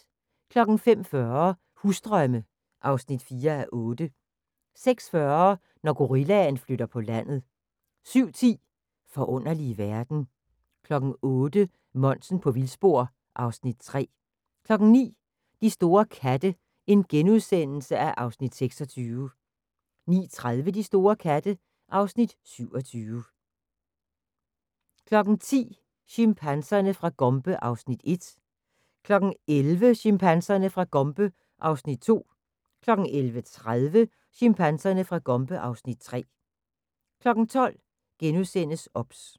05:40: Husdrømme (4:8) 06:40: Når gorillaen flytter på landet 07:10: Forunderlige verden 08:00: Monsen på vildspor (Afs. 3) 09:00: De store katte (Afs. 26)* 09:30: De store katte (Afs. 27) 10:00: Chimpanserne fra Gombe (Afs. 1) 11:00: Chimpanserne fra Gombe (Afs. 2) 11:30: Chimpanserne fra Gombe (Afs. 3) 12:00: OBS *